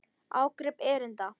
Ágrip erinda.